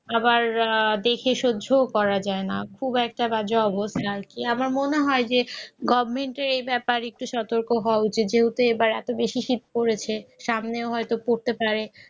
আবার দেখে সহ্য করা যায় না খুব একটা বাজে অবস্থায় আমার মনে হয় যে গভমেন্টের এই ব্যাপার একটু সতর্ক হওয়া উচিত যেহেতু এবার এত বেশি শীত পড়েছে সামনে হয়তো করতে পারে